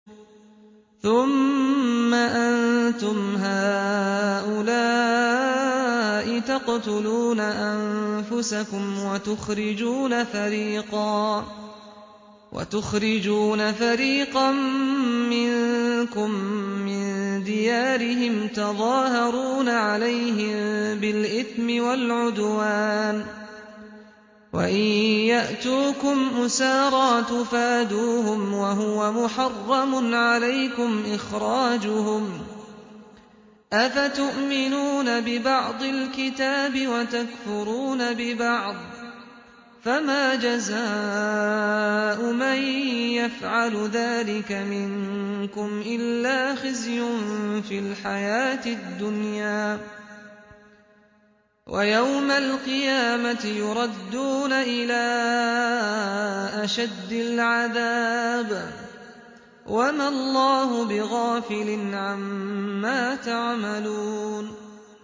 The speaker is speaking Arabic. ثُمَّ أَنتُمْ هَٰؤُلَاءِ تَقْتُلُونَ أَنفُسَكُمْ وَتُخْرِجُونَ فَرِيقًا مِّنكُم مِّن دِيَارِهِمْ تَظَاهَرُونَ عَلَيْهِم بِالْإِثْمِ وَالْعُدْوَانِ وَإِن يَأْتُوكُمْ أُسَارَىٰ تُفَادُوهُمْ وَهُوَ مُحَرَّمٌ عَلَيْكُمْ إِخْرَاجُهُمْ ۚ أَفَتُؤْمِنُونَ بِبَعْضِ الْكِتَابِ وَتَكْفُرُونَ بِبَعْضٍ ۚ فَمَا جَزَاءُ مَن يَفْعَلُ ذَٰلِكَ مِنكُمْ إِلَّا خِزْيٌ فِي الْحَيَاةِ الدُّنْيَا ۖ وَيَوْمَ الْقِيَامَةِ يُرَدُّونَ إِلَىٰ أَشَدِّ الْعَذَابِ ۗ وَمَا اللَّهُ بِغَافِلٍ عَمَّا تَعْمَلُونَ